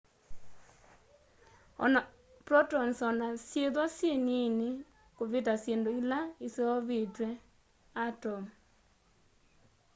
protons ona syithwa syi niini kuvita syindu ila iseuvitye atomu